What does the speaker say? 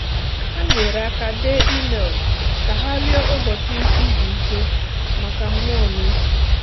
Ha nyere aka dee email ka ha rịọ ụbọchị izu ike maka mmụọ na uche.